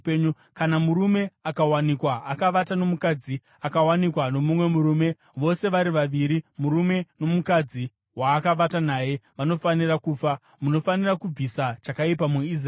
Kana murume akawanikwa akavata nomukadzi akawanikwa nomumwe murume, vose vari vaviri murume nomukadzi waakavata naye vanofanira kufa. Munofanira kubvisa chakaipa muIsraeri.